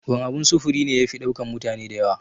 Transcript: Wan abun sufuri ne yafi ɗaukan mutane da yawa?